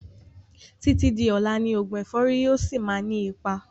Títí di ọlá ni oògùn ẹ̀fọ́rì yìí ó síí má ni ipa